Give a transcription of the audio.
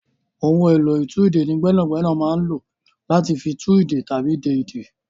Ohun èlò ìtúdè ní gbẹ́nàgbẹ́nà ń lò láti fi tú ìdè tàbí de ìdè.